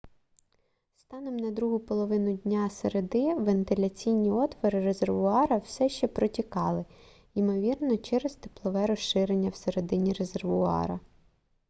станом на другу половину дня середи вентиляційні отвори резервуара все ще протікали ймовірно через теплове розширення всередині резервуара